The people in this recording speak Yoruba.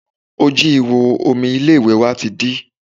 Ojú ìhò omi ilé ìwẹ̀ wa ti dí